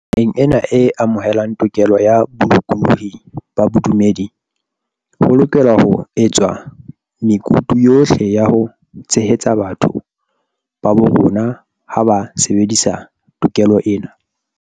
Naheng ena e amohelang tokelo ya bolokolohi ba bodumedi, ho lokelwa ho etswa mekutu yohle ya ho tshehetsa batho ba bo rona ha ba sebedisa to kelo ena.